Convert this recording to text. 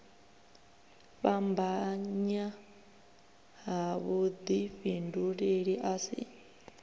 fhambanya ha vhudifhinduleli a si